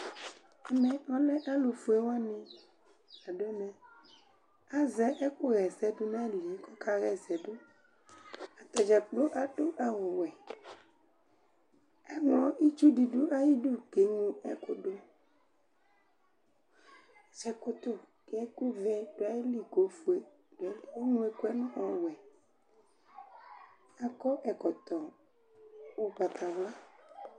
Ɛmɛ ɔlɛ alʋ fue wanɩ la dʋ ɛmɛAzɛ ɛkʋ ɣɛsɛdʋ na yilie kɔka ɣɛsɛdʋAtadzakplo adʋ awʋ wɛItsu dɩ dʋ ayidu keŋlo ɛkʋ dʋ ,zɛkutu ɛkʋ vɛ dʋ ayili ofue nʋ ɛkʋ ŋlo ɛkʋɛ ɔwɛAkɔ ɛkɔtɔ ʋgbatawla